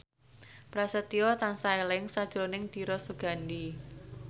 Prasetyo tansah eling sakjroning Dira Sugandi